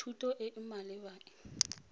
thuto e e maleba e